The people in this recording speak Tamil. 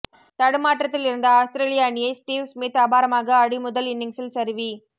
தடுமாற்றத்தில் இருந்த ஆஸ்திரேலிய அணியை ஸ்டீவ் ஸ்மித் அபாரமாக ஆடி முதல் இன்னிங்ஸில் சரிவி